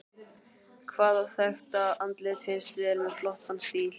Hvaða þekkta andlit finnst þér með flottan stíl?